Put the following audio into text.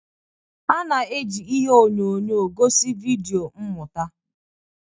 A na-eji ihe onyonyo gosi vidio mmụta.